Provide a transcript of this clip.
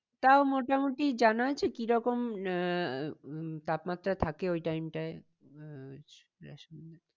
তাও মোটামুটি জানা আছে কিরকম আহ উম তাপমাত্রা থাকে ওই time টায়?